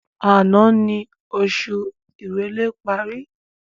Àná ni oṣù ìrèlé parí